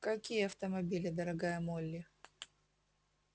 какие автомобили дорогая молли